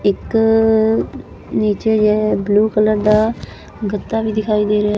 ਇੱਕ ਨੀਚੇ blue colour ਦਾ ਗੱਦਾ ਵੀ ਦਿਖਾਈ ਦੇ ਰਿਹਾ--